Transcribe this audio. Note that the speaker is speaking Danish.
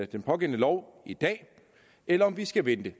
den pågældende lov i dag eller om vi skal vente